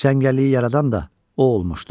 Cəngəlliyi yaradan da o olmuşdu.